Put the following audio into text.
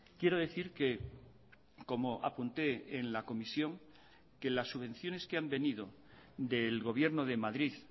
quiero decir que como apunté en la comisión que las subvenciones que han venido del gobierno de madrid